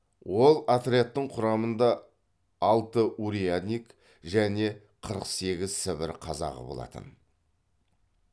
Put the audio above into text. ол отрядтың құрамында алты урядник және қырық сегіз сібір қазағы болатын